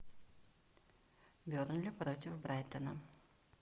бернли против брайтона